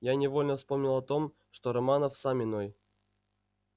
я невольно вспомнил о том что романов сам иной